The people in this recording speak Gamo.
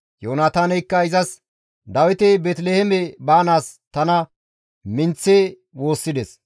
Yoonataaneykka izas, «Dawiti Beeteliheeme baanaas tana minththi woossides.